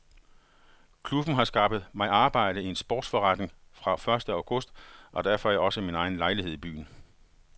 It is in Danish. Klubben har skaffet mig arbejde i en sportsforretning fra første august og der får jeg også min egen lejlighed i byen.